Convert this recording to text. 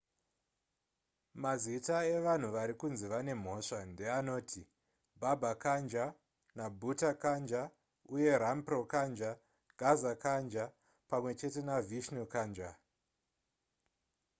mazita evanhu vari kunzi vane mhosva ndeanoti baba kanjar nabutha kanjar uye rampro kanjar gaza kanjar pamwe chete navishnu kanjar